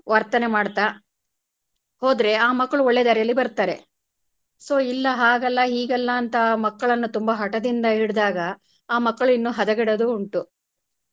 ವರ್ತನೆ ಮಾಡ್ತಾ ಹೋದ್ರೆ ಆ ಮಕ್ಕಳು ಒಳ್ಳೆ ದಾರಿಲಿ ಬರ್ತಾರೆ so ಇಲ್ಲ ಹಾಗಲ್ಲ ಹಿಗಲ್ಲ ಅಂತ ಆ ಮಕ್ಕಳನ್ನು ತುಂಬಾ ಹಟದಿಂದ ಹಿಡ್ದಾಗ ಆ ಮಕ್ಕಳು ಇನ್ನೂ ಹದಗೆಡುವುದು ಉಂಟು.